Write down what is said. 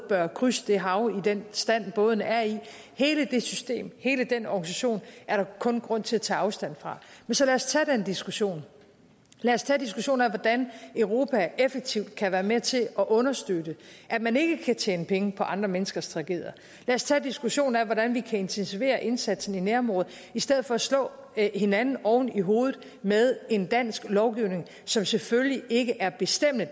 bør krydse det hav i den stand bådene er i hele det system hele den organisation er der kun grund til at tage afstand fra men så lad os tage den diskussion lad os tage diskussionen af hvordan europa effektivt kan være med til at understøtte at man ikke kan tjene penge på andre menneskers tragedier lad os tage diskussionen af hvordan vi kan intensivere indsatsen i nærområderne i stedet for at slå hinanden oven i hovedet med en dansk lovgivning som selvfølgelig ikke er bestemmende